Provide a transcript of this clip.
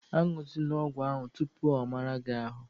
A ñụzịna ọgwụ ahụ tupu ọ mara gị ahụ!